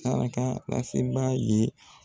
Saraka laseba ye